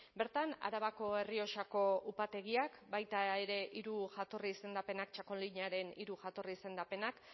bertan arabako errioxako upategiak baita ere hiru jatorri izendapenak txakolinaren hiru jatorri izendapenak